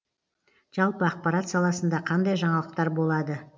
жалпы ақпарат саласында қандай жаңалықтар болады